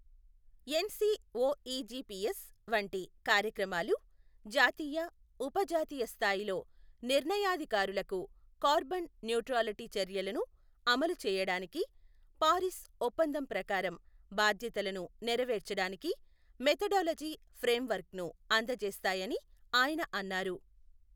NCOEGPS వంటి కార్యక్రమాలు జాతీయ, ఉప జాతీయ స్థాయిలో నిర్ణయాధికారులకు కార్బన్ న్యూట్రాలిటీ చర్యలను అమలు చేయడానికి, పారిస్ ఒప్పందం ప్రకారం బాధ్యతలను నెరవేర్చడానికి మెథడాలజీ ఫ్రేమ్వర్క్ను అందజేస్తాయని ఆయన అన్నారు.